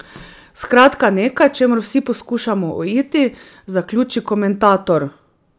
Skratka nekaj, čemur vsi poskušamo uiti, zaključi komentator.